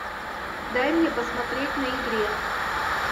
дай мне посмотреть на игре